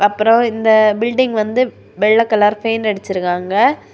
அப்ரோ இந்த பில்டிங் வந்து வெள்ள கலர் பெயிண்ட் அடிச்சிருக்காங்க.